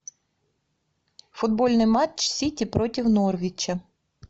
футбольный матч сити против норвича